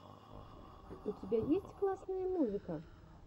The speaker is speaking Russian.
у тебя есть классные музыка